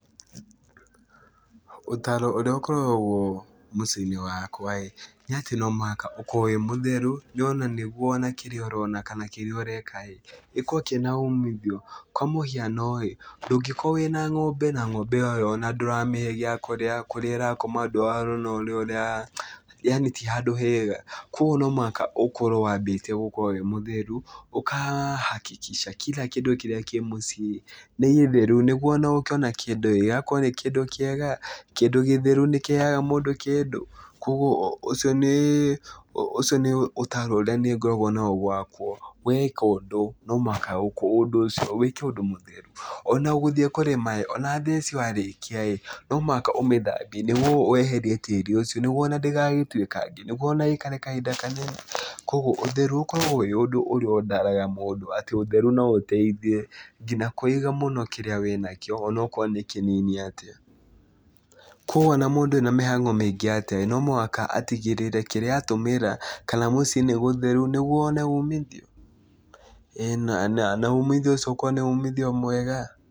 Ũtaaro ũrĩa ũkoragwo mũciĩ-inĩ wakwa-ĩ, nĩatĩ no mũhaka ũkorwo wĩ mũtheru nĩ ona nĩguo ona kĩrĩa ũrona kana kĩrĩa ũreka-ĩ, gĩkorwo kĩna umithio, kwa mũhiano-ĩ, ndũngĩkorwo wĩna ng'ombe na ng'ombe ĩyo ona ndũramĩhe gĩa kũrĩa, kũrĩa ĩrakoma ndũrona ũrĩa yaani ti handũ hega, kuoguo no mũhaka ũkorwo wambĩtie gũkorwo wĩ mũtheru, ũkahakikica kira kĩndũ kĩrĩa kĩ mũciĩ-ĩ nĩ gĩtheru, nĩguo ona ũkĩona kĩndũ-ĩ gĩgakorwo nĩ kĩndũ kĩega, kĩndũ gĩtheru nĩkĩheaga mũndũ kĩndũ, kuoguo ũcio nĩĩ ũcio nĩ ũtaaro ũrĩa niĩ ngoragwo naguo gwakwa, weka ũndũ no mũhaka ũndũ ũcio wĩke ũndũ mũtheru. Ona gũthiĩ kũrĩma-ĩ, ona theci warĩkia-ĩ no mũhaka ũmĩthambie nĩguo weherie tĩri ũcio, nĩguo ona ndĩgagĩtuĩkange nĩguo ona ĩikare kahinda kanene, kuoguo ũtheru ũkoragwo wĩ ũndũ ũrĩa ndaraaga mũndũ, atĩ ũtheru no ũteithie nginya kũiga mũno kĩrĩa wĩnakĩo onokorwo nĩ kĩnini atĩa, kuoguo ona mũndũ ena mĩhango mĩingĩ atĩa-ĩ, no mũhaka atigĩrĩre kĩrĩa atũmĩra kana mũciĩ nĩ gũtheru nĩguo one umithio, na na umithio ũcio ũkorwo nĩ umithio mwega.